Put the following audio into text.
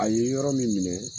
A ye yɔrɔ min minɛ.